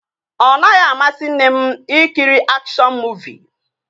Ọ naghị amasị nne m ị kiri akshọn muuvi